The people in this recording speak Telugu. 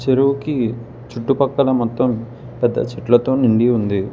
చెరువుకి చుట్టుపక్కల మొత్తం పెద్ద చెట్లతో నిండి ఉంది.